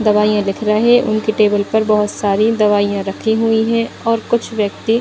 दवाइयां लिख रहे उनके टेबल पर बहुत सारी दवाइयां रखी हुई है और कुछ व्यक्ति --